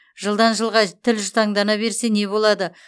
жылдан жылға тіл жұтаңдана берсе не болады